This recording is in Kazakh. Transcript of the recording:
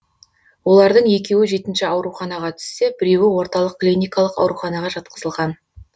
олардың екеуі жетінші ауруханаға түссе біреуі орталық клиникалық ауруханаға жатқызылған